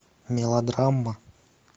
мелодрама